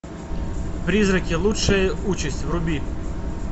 призраки лучшая участь вруби